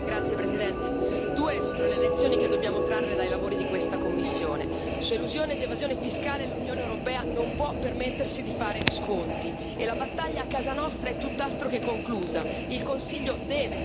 Signor Presidente, onorevoli colleghi, due sono le lezioni che dobbiamo trarre dai lavori di questa commissione su elusione ed evasione fiscale l'Unione europea non può permettersi di fare sconti, e la battaglia a casa nostra è tutt'altro che conclusa.